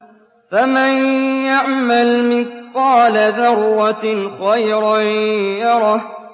فَمَن يَعْمَلْ مِثْقَالَ ذَرَّةٍ خَيْرًا يَرَهُ